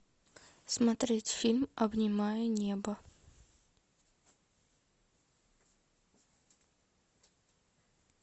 смотреть фильм обнимая небо